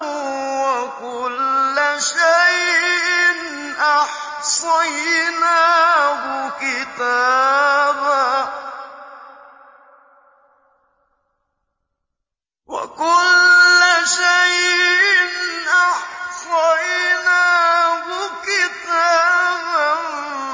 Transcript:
وَكُلَّ شَيْءٍ أَحْصَيْنَاهُ كِتَابًا